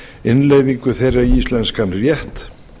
innleiðingu þeirra í íslenskan rétt